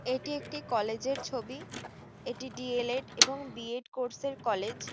এটি একটি কলেজের এর ছবি এটি ডি.এল.এড এবং বি.এড কোর্স এর কলেজ ।